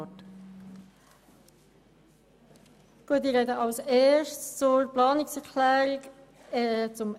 Im Voranschlag 2018 ist der Saldo der Produktgruppe 5.7.2 «Spitalversorgung» um CHF 0,09 Millionen zu erhöhen.